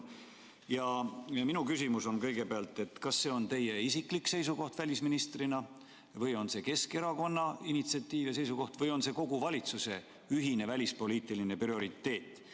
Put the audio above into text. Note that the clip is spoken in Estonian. Minu küsimus on kõigepealt, kas see on teie isiklik seisukoht välisministrina või on see Keskerakonna initsiatiiv ja seisukoht või on see kogu valitsuse ühine välispoliitiline prioriteet.